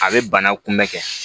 A bɛ bana kunbɛn kɛ